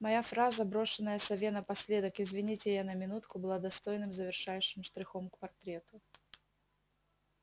моя фраза брошенная сове напоследок извините я на минутку была достойным завершающим штрихом к портрету